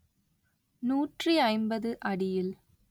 நூற்றி ஐம்பது அடியில்